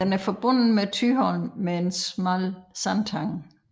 Den er forbundet med Thyholm med en smal sandtange